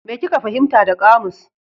Me kika fahimta da kamus?